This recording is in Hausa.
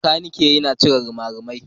Makaniki yana cire rimarimai.